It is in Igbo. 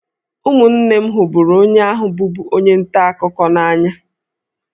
Ụmụnne m hụrụ onye ahụ bụbu onye nta akụkọ n'anya